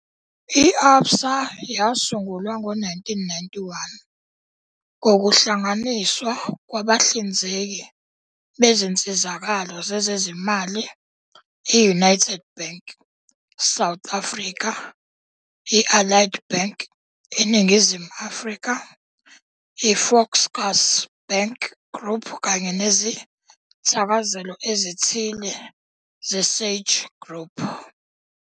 I-Absa yasungulwa ngo-1991 ngokuhlanganiswa kwabahlinzeki bezinsizakalo zezezimali i-United Bank, South Africa, i-Allied Bank, iNingizimu Afrika, i- Volkskas Bank Group kanye nezithakazelo ezithile zeSage Group.